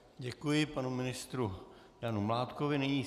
Děkuji panu ministru Janu Mládkovi.